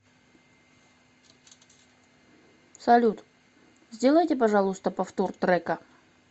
салют сделайте пожалуйста повтор трека